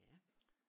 Ja